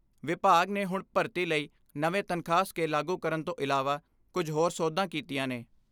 ਵਿਭਾਗ ਨੇ ਹੁਣ ਭਰਤੀ ਲਈ ਨਵੇਂ ਤਨਖਾਹ ਸਕੇਲ ਲਾਗੂ ਕਰਨ ਤੋਂ ਇਲਾਵਾ ਕੁਝ ਹੋਰ ਸੋਧਾਂ ਕੀਤੀਆਂ ਨੇ।